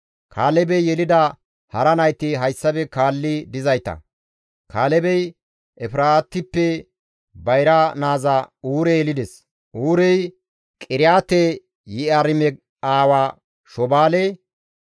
Kaalebey yelida hara nayti hayssafe kaalli dizayta; Kaalebey Efraatippe bayra naaza Uure yelides; Uurey Qiriyaate-Yi7aarime aawa Shobaale.